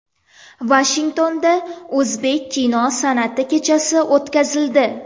Vashingtonda o‘zbek kino san’ati kechasi o‘tkazildi.